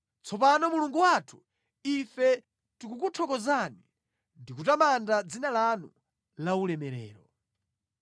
Tsopano Mulungu wathu, ife tikukuthokozani ndi kutamanda dzina lanu laulemerero.